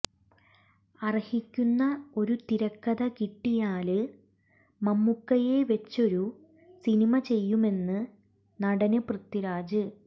അര്ഹിക്കുന്ന ഒരു തിരക്കഥ കിട്ടിയാല് മമ്മൂക്കയെ വെച്ചൊരു സിനിമ ചെയ്യുമെന്ന് നടന് പൃഥ്വിരാജ്